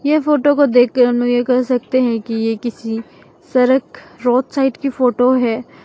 यह फोटो को देख के हम लोग ये कह सकते हैं कि ये किसी सरक रोड साइड की फोटो है।